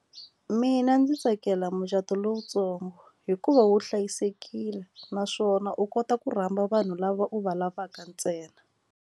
Mina ndzi tsakela mucato lowutsongo hikuva wu hlayisekile naswona u kota ku rhamba vanhu lava u va lavaka ntsena.